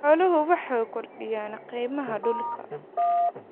Xooluhu waxay kordhiyaan qiimaha dhulka.